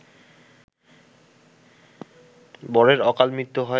বরের অকালমৃত্যু হয়